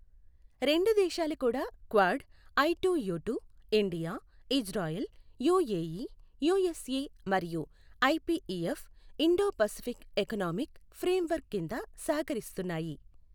రెండు దేశాలు కూడా Quad, I two U two, India, Israel, UAE, USA, మరియు IPEF Indo Pacific economic framework కింద సహకరిస్తున్నాయి.